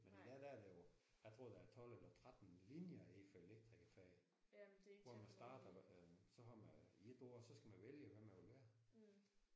Men i dag der er der jo jeg tror der er 12 eller 13 linjer indenfor elektrikerfaget. Hvor man starter så har man 1 år så skal man vælge hvad man vil være